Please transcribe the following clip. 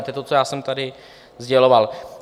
To je to, co já jsem tady sděloval.